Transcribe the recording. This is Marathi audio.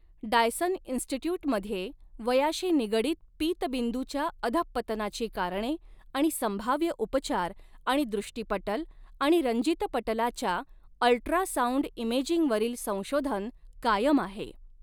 डायसन इन्स्टिट्यूटमध्ये वयाशी निगडीत पीतबिंदूच्या अधःपतनाची कारणे आणि संभाव्य उपचार आणि दृष्टीपटल आणि रंजितपटलाच्या अल्ट्रासाऊंड इमेजिंगवरील संशोधन कायम आहे.